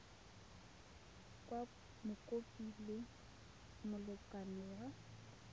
kwa mokopi le molekane wa